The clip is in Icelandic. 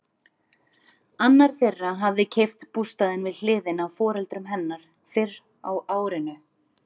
Annar þeirra hafði keypt bústaðinn við hliðina á foreldrum hennar fyrr á árinu.